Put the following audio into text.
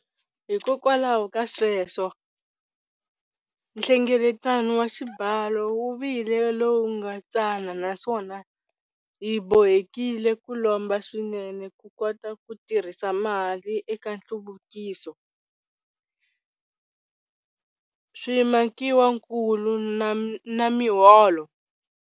Hikwalaho ka sweswo, nhlengeleto wa xibalo wu vile lowu nga tsana naswona hi bohekile ku lomba swinene ku kota ku tirhisa mali eka nhluvukiso, swimakiwankulu na miholo.